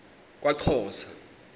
kwaxhosa